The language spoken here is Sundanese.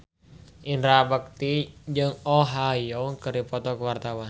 Indra Bekti jeung Oh Ha Young keur dipoto ku wartawan